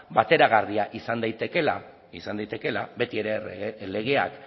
bateragarria izan daitekeela beti ere legeak